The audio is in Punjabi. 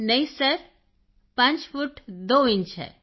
ਕ੍ਰਿਤਿਕਾ ਨਹੀਂ ਸਰ 5 ਫੁੱਟ 2 ਇੰਚ ਹੈ